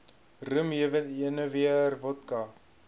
rum jenewer wodka